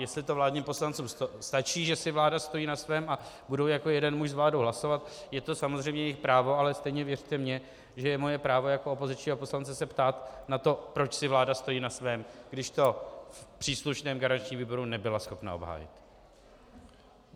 Jestli to vládním poslancům stačí, že si vláda stojí na svém, a budou jako jeden muž s vládou hlasovat, je to samozřejmě jejich právo, ale stejně věřte mně, že je moje právo jako opozičního poslance se ptát na to, proč si vláda stojí na svém, když to v příslušném garančním výboru nebyla schopna obhájit.